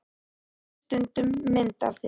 Hann sýndi mér stundum mynd af þér.